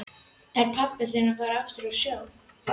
Er pabbi þinn farinn aftur á sjóinn?